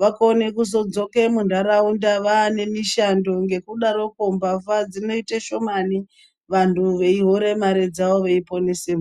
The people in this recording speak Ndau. vakone kuzodzoka munharaunda nemishando ngekudaroko mbavha dzinoita shomani vantu veihora mare dzawo veiponesa.